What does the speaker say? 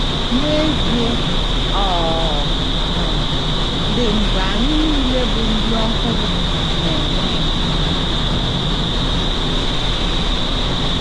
N’ezie, ọ um dị mgbe anyị nile bụ ndi ọhụrụ na - enwe enyemaka.